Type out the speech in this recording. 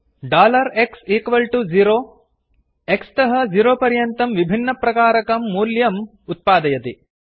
x0 dollar x equal to zero x तः 0 पर्यन्तं विभिन्नप्रकारकं मूल्यम् वेल्यू उत्पादयति